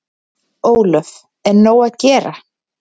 Ólöf: Er nóg að gera?